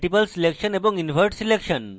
multiple selection এবং invert selection